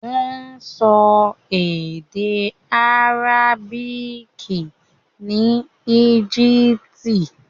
Wọ́n sọ èdè àrábìkì ní Egypt.